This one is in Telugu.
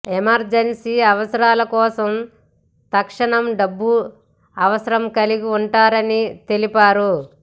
ఎమర్జెన్సీ అవసరాల కోసం తక్షనం డబ్బు అవసరం కలిగి ఉంటారని తెలిపారు